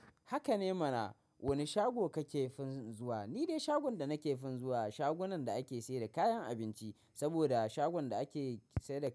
Haka ne mana. Wane shago kake fin zuwa? Ni dai shagon da nake fin zuwa, shagunan da ake sai da kayan abinci saboda shagon da ake sayar da kayan-